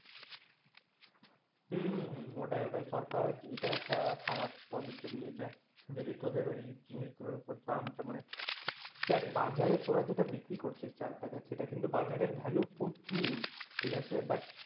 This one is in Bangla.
হম হম হম ওটাই ওটাই সরকার এটা একটা খারাপ পদক্ষেপ নিয়েছে যদি তোদের ওই জিনিসগুলোর ওপর দামটা মানে দেখ বাজারে তোরা যেটা বিক্রি করছিস চালটাকে সেটা কিন্তু বাজারে value প্রচুর, ঠিক আছে? but